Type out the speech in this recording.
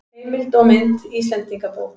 Heimild og mynd Íslendingabók.